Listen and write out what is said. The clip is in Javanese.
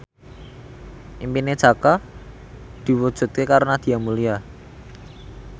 impine Jaka diwujudke karo Nadia Mulya